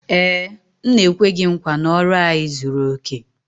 Ee, m na-ekwe gị nkwa na ọrụ anyị zuru oke